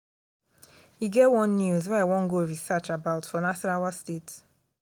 e get one news wey i wan go research about for nasarawa state